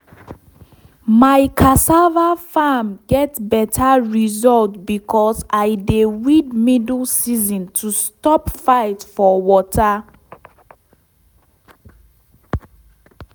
my cassava farm get better result because i dey weed middle season to stop fight for water.